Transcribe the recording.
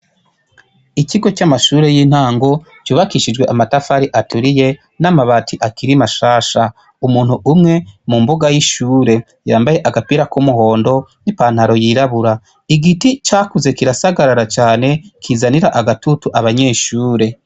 Ikigo cama shure yintago cubakishijwe amatafari aturiye namabati akiri mashasha, umuntu umwe ari mumbuga yishure yambaye agapira kumuhondo ipantaro yirabura, igiti cakuze kirasagarara cane kizanira agatutu abanyeshure.